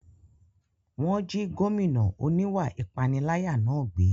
Wọ́n jí gómìnà oníwà ìpániláyà náà gbé